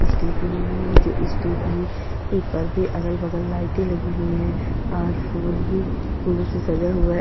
Stage बनी हुई है जो स्टेज में एक परदे अगल बगल लाइटे लगी हुई है और फूल भी फूलो से सजा हुआ है।